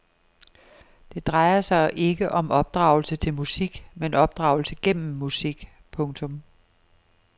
Det drejer sig ikke om opdragelse til musik men opdragelse gennem musik. punktum